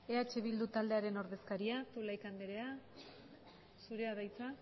eh bildu taldearen ordezkariak zulaika anderea zurea da hitza